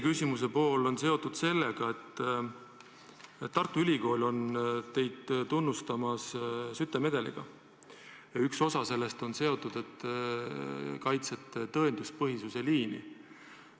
Küsimuse teine pool on seotud sellega, et Tartu Ülikool on tunnustanud teid Skytte medaliga ja üks põhjendus on, et te olete kaitsnud tõenduspõhisuse liini.